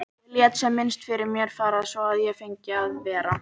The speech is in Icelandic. Ég lét sem minnst fyrir mér fara svo að ég fengi að vera.